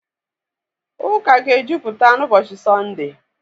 Ụka ga-ejupụta n'ụbọchị Sọnde.